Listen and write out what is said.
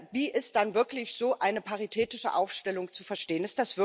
Wie ist dann wirklich so eine paritätische Aufstellung zu verstehen?